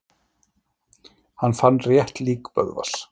Hann fann rétt lík Böðvars.